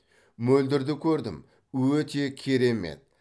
мөлдірді көрдім өте керемет